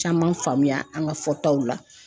Caman faamuya an ka fɔtaw la.